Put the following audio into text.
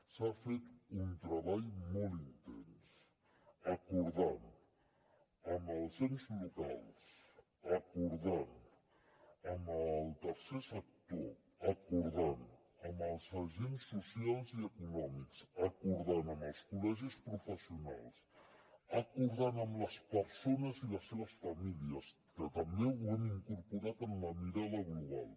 s’ha fet un treball molt intens acordant amb els ens locals acordant amb el tercer sector acordant amb els agents socials i econòmics acordant amb els col·legis professionals acordant amb les persones i les seves famílies que també ho hem incorporat en la mirada global